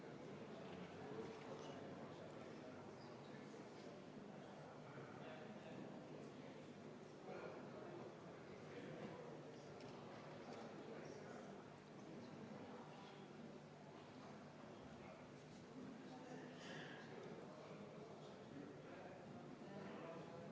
Austatud Riigikogu, panen hääletusele muudatusettepaneku nr 5, mille on esitanud Vabaerakonna fraktsioon ja mida juhtivkomisjon on täielikult arvestanud.